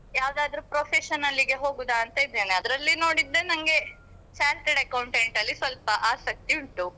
ಯಾವದಾದ್ರು professional ಗೆ ಹೋಗುದಾ ಅಂತ ಇದ್ದೇನೆ ಅದ್ರಲ್ಲಿ ನೋಡಿದ್ರೆ ನಂಗೆ charted accountant ಅಲ್ಲಿ ಸ್ವಲ್ಪ ಆಸಕ್ತಿ ಉಂಟು.